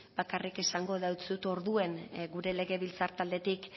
bakarrik esango deutsut orduan gure legebiltzar taldetik